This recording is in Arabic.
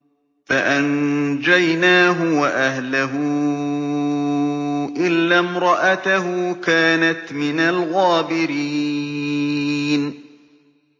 فَأَنجَيْنَاهُ وَأَهْلَهُ إِلَّا امْرَأَتَهُ كَانَتْ مِنَ الْغَابِرِينَ